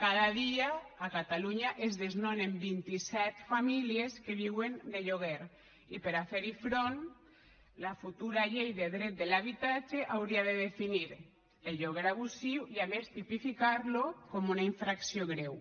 cada dia a catalunya es desnonen vint i set famílies que viuen de lloguer i per a fer hi front la futura llei de dret de l’habitatge hauria de definir el lloguer abusiu i a més tipificar lo com una infracció greu